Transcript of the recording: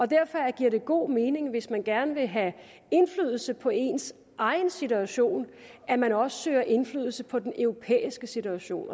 derfor giver det god mening hvis man gerne vil have indflydelse på ens egen situation at man også søger indflydelse på den europæiske situation